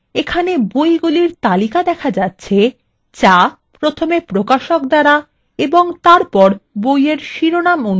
এখানে বইএর তালিকা দেখা যাচ্ছে যা প্রথমে প্রকাশক দ্বারা এবং তারপর বইয়ের শিরোনাম অনুসারে সাজানো রয়েছে